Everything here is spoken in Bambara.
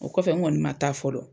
O kɔfɛ n kɔni ma taa fɔlɔ